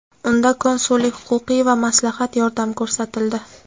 Unda konsullik-huquqiy va maslahat yordam ko‘rsatildi.